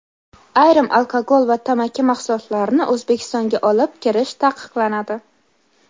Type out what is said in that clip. Ayrim alkogol va tamaki mahsulotlarini O‘zbekistonga olib kirish taqiqlanadi.